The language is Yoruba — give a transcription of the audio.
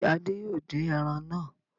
Ṣé Adé yóò dín ẹran náà?